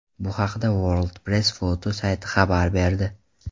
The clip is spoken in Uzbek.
Bu haqda World Press Photo sayti xabar berdi .